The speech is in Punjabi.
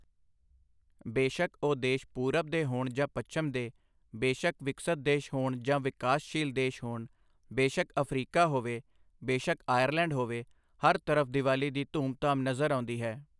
ਬੇਸ਼ੱਕ ਉਹ ਦੇਸ਼ ਪੂਰਬ ਦੇ ਹੋਣ ਜਾਂ ਪੱਛਮ ਦੇ, ਬੇਸ਼ੱਕ ਵਿਕਸਤ ਦੇਸ਼ ਹੋਣ ਜਾਂ ਵਿਕਾਸਸ਼ੀਲ ਦੇਸ਼ ਹੋਣ, ਬੇਸ਼ੱਕ ਅਫਰੀਕਾ ਹੋਵੇ, ਬੇਸ਼ੱਕ ਆਇਰਲੈਂਡ ਹੋਵੇ, ਹਰ ਤਰਫ਼ ਦੀਵਾਲੀ ਦੀ ਧੂਮ ਧਾਮ ਨਜ਼ਰ ਆਉਂਦੀ ਹੈ।